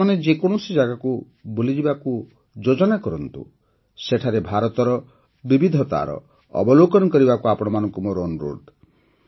ଆପଣମାନେ ଯେ କୌଣସି ଜାଗାକୁ ବୁଲିବାକୁ ଯିବାକୁ ଯୋଜନା କରନ୍ତୁ ସେଠାରେ ଭାରତର ବିବିଧତାର ଅବଲୋକନ କରିବାକୁ ଆପଣମାନଙ୍କୁ ମୋର ଅନୁରୋଧ